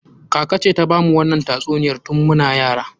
Kaka ce ta bamu wannan tatsuniyan tun muna yara.